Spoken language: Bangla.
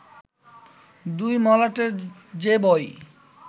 দুই মলাটের যে বই